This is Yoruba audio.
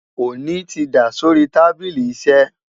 oni tí dá sórí tábìlì iṣé